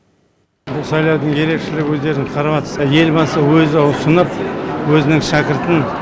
бұл сайлаудың ерекшелігіне өздеріңіз карап отырсыздар елбасымыз өзі ұсынып өзінің шәкіртін